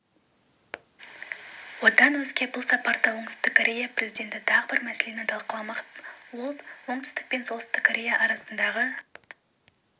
одан өзге бұл сапарда оңтүстік корея президенті тағы бір мәселені талқыламақ ол пен оңтүстік корея арасындағы